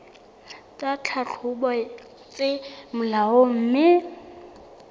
tsa tlhahlobo tse molaong mme